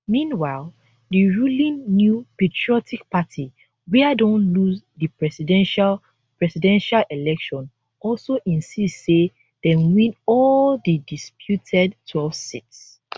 meanwhile di ruling new patriotic party wia don lose di presidential presidential election also insist say dem win all di disputed twelve seats